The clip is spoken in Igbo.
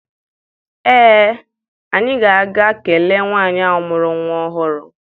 Ee, anyị ga-aga kelee nwaanyị ahụ mụrụ nwa ọhụrụ.